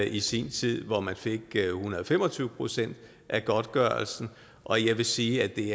i sin tid hvor man fik en hundrede og fem og tyve procent af godtgørelsen og jeg vil sige at det